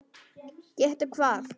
Gettu hvað?